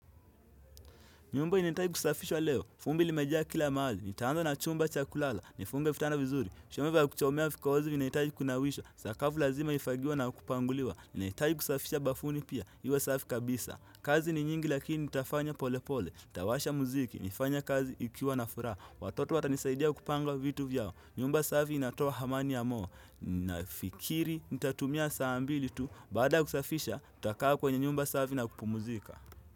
Nyumba inahitaji kusafishwa leo. Vumbi limejaa kila mahali. Nitaanza na chumba cha kulala. Nifunge vitanda vizuri. Chombo vya kuchomea vikozi vinahitaji kunawishwa. Sakafu lazima ifagiwe na kupanguliwa. Nahitajii kusafisha bafuni pia. Iwe safi kabisa. Kazi ni nyingi lakini nitafanya pole pole. Nitawasha muziki nifanye kazi nikiwa na furaha. Watoto watanisaidia kupanga vitu vyao. Nyumba safi inatoa amani ya moyo. Nafikiri nitatumia saa mbili tu. Baada ya kusafisha, nitakaa kwenye nyumba safi na kupumzika.